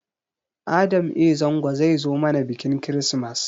Adam a. Zango zai zo mana biƙin kirismas